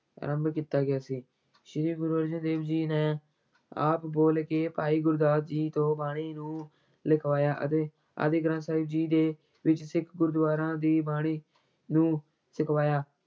ਆਰੰਭ ਕੀਤਾ ਗਿਆ ਸੀ, ਸ੍ਰੀ ਗੁਰੂ ਅਰਜਨ ਦੇਵ ਜੀ ਨੇ ਆਪ ਬੋਲ ਕੇ ਭਾਈ ਗੁਰਦਾਸ ਜੀ ਤੋਂ ਬਾਣੀ ਨੂੰ ਲਿਖਵਾਇਆ ਅਤੇ ਆਦਿ ਗ੍ਰੰਥ ਸਾਹਿਬ ਜੀ ਦੇ ਵਿੱਚ ਸਿੱਖ ਗੁਰਦੁਆਰਾਂ ਦੀ ਬਾਣੀ ਨੂੰ ਛਕਵਾਇਆ।